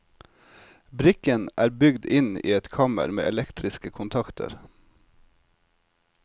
Brikken er bygd inn i et kammer med elektriske kontakter.